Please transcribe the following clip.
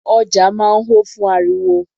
Ọjà máa ń ho fún ariwo.